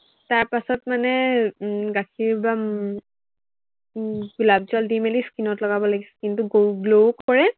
তাৰপাছত মানে উম গাখীৰ বা উম উম গোলাপ জল দি মেলি skin ত লগাব লাগে, skin টো glow, glow কৰে